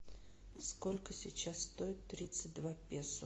сколько сейчас стоит тридцать два песо